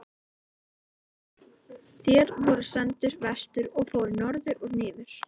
THEODÓRA: Þér voruð sendur vestur og fóruð norður og niður!